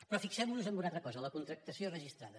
però fixem nos en una altra cosa la contractació registrada